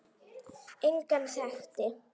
Engan þekkti